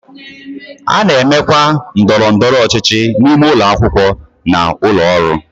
A na-emekwa ndọrọ ndọrọ ọchịchị n'ime ụlọ akwụkwọ na ụlọ ọrụ.